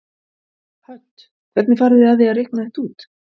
Hödd: Hvernig farið þið að því að reikna þetta út?